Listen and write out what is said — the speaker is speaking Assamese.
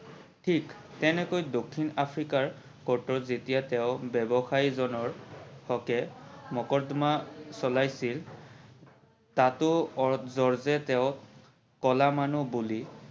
থিক তেনেকৈ দক্ষিণ আফ্ৰিকাৰ court ত যেতিয়া তেও ব্যৱসায়ী জনৰ হকে মকৰ্দমা চলাইছিল তোতা অৰ্জে অৰ্জে তেওক কলা মানুহ বুলি